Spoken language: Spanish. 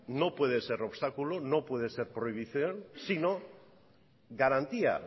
no puede ser obstáculo no puede ser prohibición sino garantía